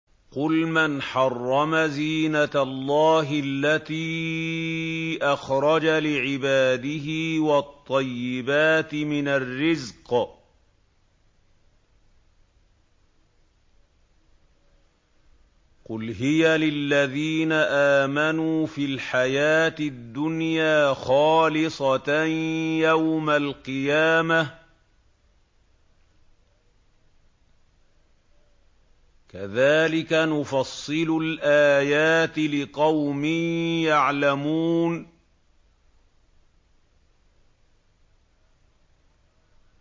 قُلْ مَنْ حَرَّمَ زِينَةَ اللَّهِ الَّتِي أَخْرَجَ لِعِبَادِهِ وَالطَّيِّبَاتِ مِنَ الرِّزْقِ ۚ قُلْ هِيَ لِلَّذِينَ آمَنُوا فِي الْحَيَاةِ الدُّنْيَا خَالِصَةً يَوْمَ الْقِيَامَةِ ۗ كَذَٰلِكَ نُفَصِّلُ الْآيَاتِ لِقَوْمٍ يَعْلَمُونَ